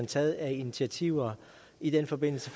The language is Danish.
taget af initiativer i den forbindelse